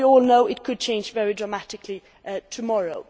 As we all know, it could change very dramatically tomorrow.